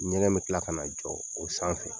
Ɲɛgɛn bɛ tila ka na jɔ o sanfɛ